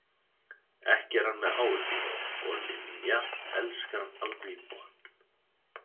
Ekki er hann með áhyggjur og Linja elskar hann alveg í botn.